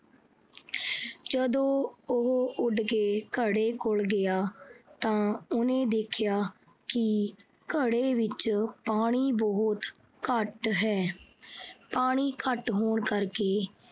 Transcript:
ਜਦੋਂ ਉਹ ਉੱਡ ਕੇ ਘੜੇ ਕੋਲ ਗਿਆ ਤਾਂ ਉਹਨੇ ਦੇਖਿਆ ਕਿ ਘੜੇ ਵਿੱਚ ਪਾਣੀ ਬਹੁਤ ਘੱਟ ਹੈ। ਪਾਣੀ ਘੱਟ ਹੋਣ ਕਰਕੇ